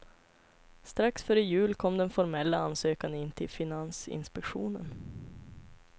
Strax före jul kom den formella ansökan in till finansinspektionen.